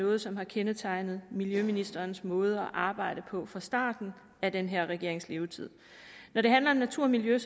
noget som har kendetegnet miljøministerens måde at arbejde på fra starten af den her regerings levetid når det handler om natur og miljø er